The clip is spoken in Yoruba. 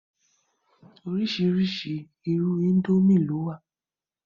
orísìírísìí irú índómì ló wà